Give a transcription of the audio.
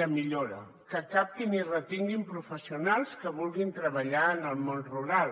de millora que captin i retinguin professionals que vulguin treballar en el món rural